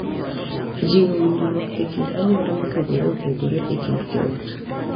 E jiwo winjruok e kind anyuola mopogore opogore e kind joot.